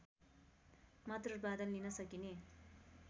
मात्र उत्पादन लिन सकिने